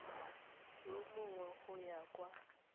yo mongwe go ya kwa